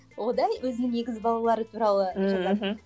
өзінің егіз балалары туралы жазады